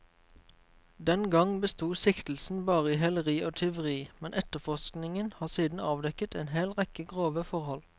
Den gang besto siktelsen bare i heleri og tyveri, men etterforskingen har siden avdekket en hel rekke grove forhold.